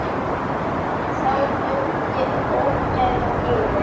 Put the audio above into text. En þá dundi ógæfan yfir.